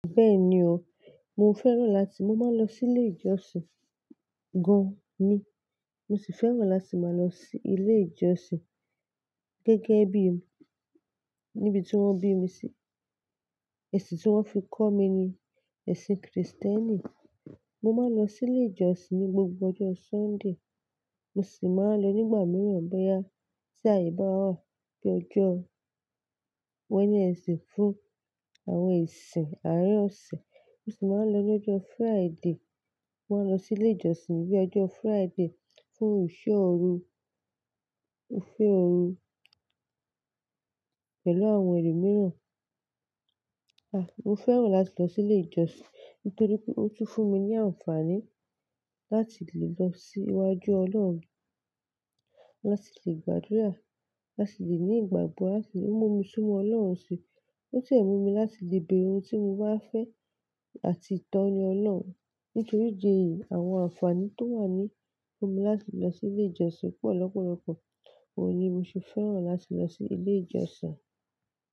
Bẹ́ẹ̀ni o, mo fẹ́ràn láti mo máa lọ sílé ìjọsìn gan ní. Mo sì fẹ́ràn láti máa lọ si ílé ìjọsìn gẹ́gẹ́ bí i níbi tí wọ́n bí mi sí. Ẹ̀sìn tí wọ́n fi kọ́ mi ni ẹ̀sìn kìrìsìtẹ́nì. Mo máa ń lọ sílé ìjọsìn ní gbogbo ọjọ́ Súndè. Mo sì máa ń lọ nígbà mìíràn bẹ́yà tí àyè bá wà bíi ọjọ́ wednesday fún àwọn ìsìn àárín ọ̀sẹ̀. Mo sì máa ń lọ lọ́jọ́ Fríde. Mo máa ń lọ sílé ìjọsìn níbi ọjọ́ Fríde fún ìṣọ́ ọrọ̀, ìṣọ́ ọrọ̀ pẹ̀lú àwọn ẹlòmíràn. À, mo fẹ́ràn láti lọ sílé ìjọsìn nítorí pé ó tún fún mi ní àǹfààní láti lè lọ sí iwájú Ọlọ́run, láti lè gbàdúrà, láti lè ní ìgbàgbọ́, láti lè mú mi súnmọ́ Ọlọ́run síi. Ó sì mu mi láti lè bẹ̀rù ohun tí mo bá fẹ́ àti ìtọ́ni Ọlọ́run. Nítorí ìdi eyì, àwọn àǹfààní tó wà ní fún mi láti lọ sílé ìjọsìn pọ̀ lọ́pọ̀lọpọ̀. Ó yí mo sì fẹ́ràn láti lọ sílé ìjọsìn.